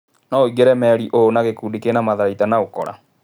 " No ũingĩre merĩ ta ũũ na gĩkundi kĩna matharaita na ũkora.